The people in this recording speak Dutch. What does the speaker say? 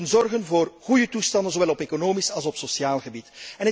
Wij moeten zorgen voor goede toestanden, zowel op economisch als op sociaal gebied.